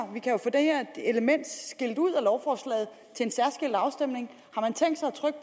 her element skilt ud af lovforslaget til en særskilt afstemning